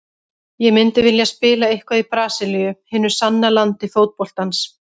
Ég myndi vilja spila eitthvað í Brasilíu, hinu sanna landi fótboltans.